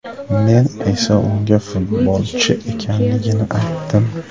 Men esa unga futbolchi ekanimni aytdim.